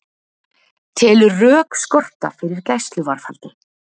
Telur rök skorta fyrir gæsluvarðhaldi